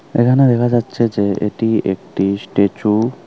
এখানে দেখা যাচ্ছে যে এটি একটি স্ট্যাচু ।